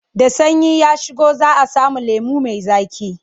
Da sanyi ya shigo za a sami lemo mai zaƙi.